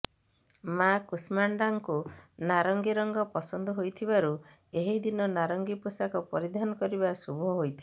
ମାଁ କୁଷ୍ମାଣ୍ଡାଙ୍କୁ ନାରଂଗୀ ରଙ୍ଗ ପସନ୍ଦ ହୋଇଥିବାରୁ ଏହି ଦିନ ନାରଙ୍ଗୀ ପୋଷାକ ପରିଧାନ କରିବା ଶୁଭ ହୋଇଥାଏ